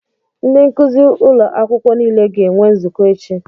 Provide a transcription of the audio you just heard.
Ndị nkuzi ụlọ akwụkwọ niile ga-enwe nzukọ echi.